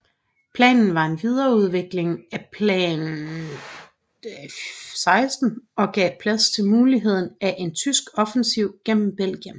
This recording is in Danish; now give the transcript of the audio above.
Planen var en videreudvikling af Plan XVI og gav plads til muligheden af en tyske offensiv gennem Belgien